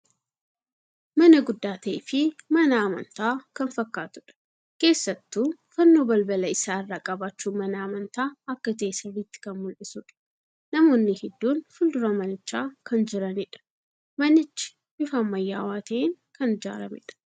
Mana guddaa ta'ee fii mana amantaa kan fakkaatudha. Keessattuu fannoo balbala isaa irraa qabaachun mana amantaa akka ta'e sirritti kan mul'isuudha. Namoonni hedduun fuuldura manichaa kan jiraniidha. Manichi bifa ammayyaawaa ta'een kan ijaaramee dha.